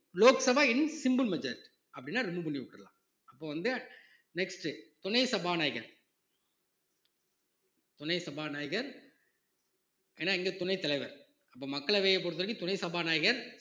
Lok Sabha in simple majority அப்படின்னா remove பண்ணி விட்டறலாம் அப்ப வந்து next துணை சபாநாயகர் துணை சபாநாயகர் என்னா இங்க துணைத் தலைவர் அப்ப மக்களவையைப் பொறுத்தவரைக்கும் துணை சபாநாயகர்